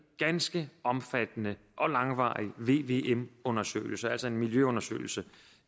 ganske omfattende og langvarig vvm undersøgelse altså en miljøundersøgelse